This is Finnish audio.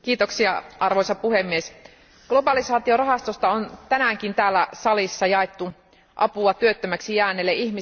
Arvoisa puhemies, globalisaatiorahastosta on tänäänkin täällä salissa jaettu apua työttömäksi jääneille ihmisille.